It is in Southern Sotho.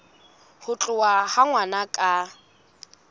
ho tholwa ha ngwana ka